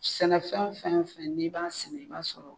Sɛnɛfɛn fɛn o fɛn n'i b'a sɛnɛ i b'a sɔrɔ